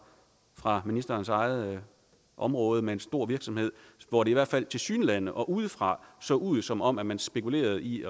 fra ministerens eget område med en stor virksomhed hvor det i hvert fald tilsyneladende og udefra så ud som om man spekulerede i